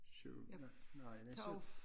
Syvende nej næste